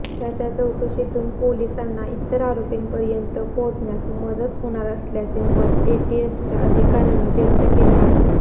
त्याच्या चौकशीतून पोलिसांना इतर आरोपींपर्यंत पोहचण्यास मदत होणार असल्याचे मत एटीएसच्या अधिकाऱ्यांनी व्यक्त केले आहे